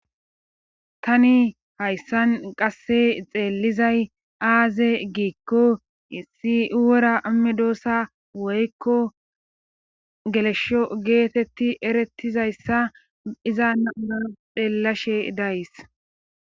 tani hayssan qasse xeellizay aaze giikko issi wora amedoosa woykko gelesho geetetti erettizayssa iza naura xeellashe days